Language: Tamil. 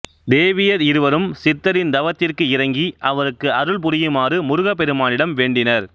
தேவியர் இருவரும் சித்தரின் தவத்திற்கு இரங்கி அவருக்கு அருள்புரியுமாறு முருகப் பெருமானிடம் வேண்டினர்